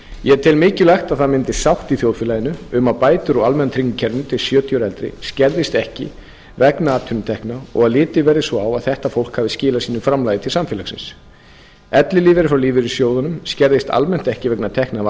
ég tel mikilvægt að það myndist sátt í þjóðfélaginu um að bætur úr almenna tryggingakerfinu fyrir sjötíu ára og eldri skerðist ekki vegna atvinnutekna og litið verði svo á að þetta fólk hafi skilað sínu framlagi til samfélagsins ellilífeyrir frá lífeyrissjóðunum skerðist almennt ekki vegna tekna af